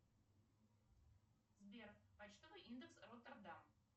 сбер почтовый индекс роттердам